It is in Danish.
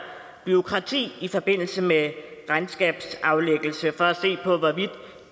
bureaukrati i forbindelse med regnskabsaflæggelse for at se på hvorvidt